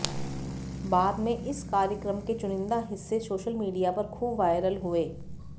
बाद में इस कार्यक्रम के चुनिंदा हिस्से सोशल मीडिया पर ख़ूब वायरल हुए